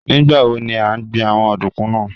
Nigbawo ni a n gbin awọn ọdunkun naa?